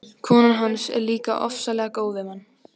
Konan hans er líka ofsalega góð við mann.